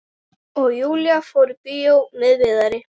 Og Júlía fór í bíó með Viðari.